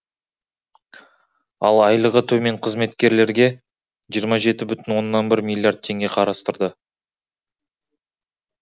ал айлығы төмен қызметкерлерге жиырма жеті бүтін оннан бір миллиард теңге қарастырды